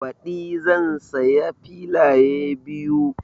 Baɗi zan siya filaye biyu